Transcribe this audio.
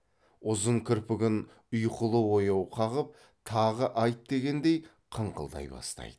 ұзын кірпігін ұйқылы ояу қағып тағы айт дегендей қыңқылдай бастайды